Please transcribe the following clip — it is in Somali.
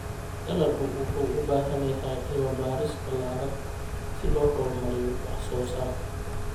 Dalaggu wuxuu u baahan yahay cilmi-baaris ballaaran si loo horumariyo wax-soo-saarka.